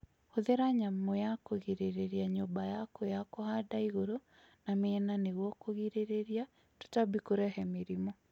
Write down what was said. Hũthĩra nyamũ cia kũrigĩrĩria nyũmba yaku ya kũhanda igũrũ na miena nĩguo kũgirĩrĩria tũtambi kũrehe mĩrimũ